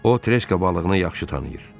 O treska balığını yaxşı tanıyır.